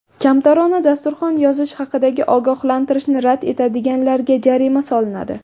Kamtarona dasturxon yozish haqidagi ogohlantirishni rad etadiganlarga jarima solinadi.